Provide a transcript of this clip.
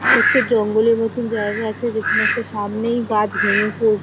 একটা জঙ্গলের মতন জায়গা আছে যেখানে একটা সামনেই গাছ ভেঙে পর --